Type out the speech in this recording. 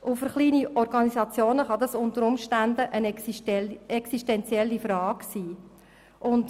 Für kleine Organisationen kann es unter Umständen eine existenzielle Frage sein.